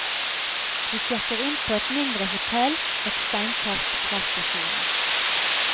Vi sjekker inn på et mindre hotell et steinkast fra stasjonen.